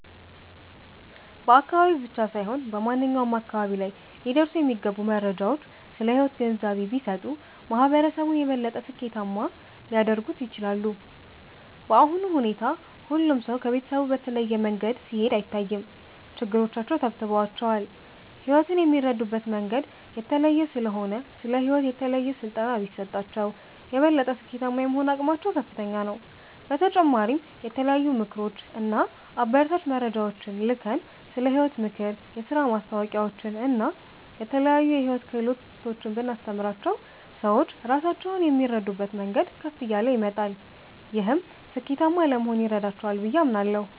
በአካባቢ ብቻ ሳይሆን በማንኛውም አካባቢ ላይ ሊደርሱ የሚገቡ መረጃዎች ስለ ሕይወት ግንዛቤ ቢሰጡ፣ ማህበረሰቡን የበለጠ ስኬታማ ሊያደርጉት ይችላሉ። በአሁኑ ሁኔታ ሁሉም ሰው ከቤተሰቡ በተለየ መንገድ ሲሄድ አይታይም፤ ችግሮቻቸው ተብትበዋቸዋል። ሕይወትን የሚረዱበት መንገድ የተለየ ስለሆነ፣ ስለ ሕይወት የተለየ ስልጠና ቢሰጣቸው፣ የበለጠ ስኬታማ የመሆን አቅማቸው ከፍተኛ ነው። በተጨማሪም የተለያዩ ምክሮች እና አበረታች መረጃዎችን ልከን፣ ስለ ሕይወት ምክር፣ የሥራ ማስታወቂያዎችን እና የተለያዩ የሕይወት ክህሎቶችን ብናስተምራቸው፣ ሰዎች ራሳቸውን የሚረዱበት መንገድ ከፍ እያለ ይመጣል። ይህም ስኬታማ ለመሆን ይረዳቸዋል ብዬ አምናለሁ።